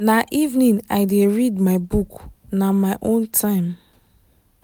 na evening i dey read my book na my own time.